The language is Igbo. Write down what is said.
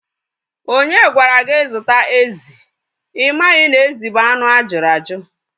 Onye gwara gị zụta ezi? Ị maghị na ezi bụ anụ ajuru aju